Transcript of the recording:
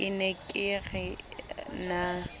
ke ne ke re na